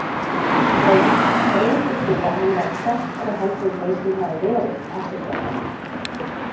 Logi: Greindir þú að hann væri sterkari heldur en þeir sem hafa verið, eftirskjálftar?